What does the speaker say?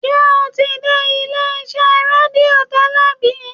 ṣe o ti dé ilé iṣé redio tẹlẹ bi?